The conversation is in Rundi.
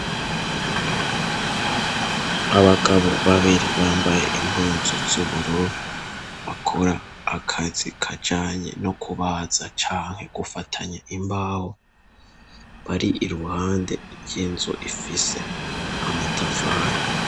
Abagabo babiri bambaye impunzu z'ubururu bakora akazi kajanye no kubaza canke gufatanya imbawe bari i ruhande ry'inzu ifise amatafani.